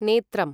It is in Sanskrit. नेत्रम्